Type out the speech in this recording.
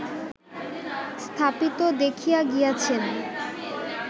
স্থাপিত দেখিয়া গিয়াছেন